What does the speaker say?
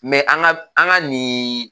Mɛ an ka an ka nin